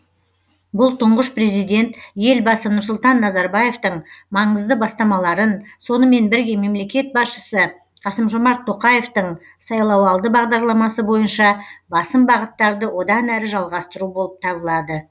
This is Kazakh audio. бұл тұңғыш президент елбасы нұрсұлтан назарбаевтың маңызды бастамаларын сонымен бірге мемлекет басшысы қасым жомарт тоқаевтың сайлауалды бағдарламасы бойынша басым бағыттарды одан әрі жалғастыру болып табылады